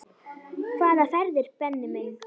Hvaða ferðir Benni minn?